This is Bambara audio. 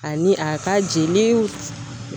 Ani a ka jeli